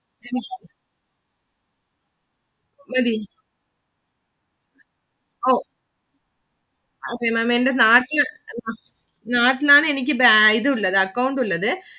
മതി ഓ Maám എന്റെ നാട്ടില് നാട്ടിലാണ് എനിക്ക് ഇതുള്ളതു account ഉള്ളത്.